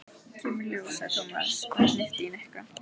Kemur í ljós, sagði Tómas og hnippti í Nikka.